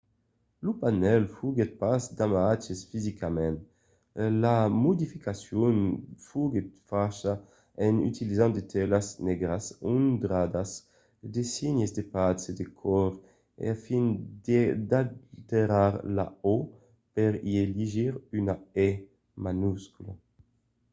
lo panèl foguèt pas damatjat fisicament; la modificacion foguèt facha en utilizant de telas negras ondradas de signes de patz e de còr a fin d'alterar la o per i legir una e minuscula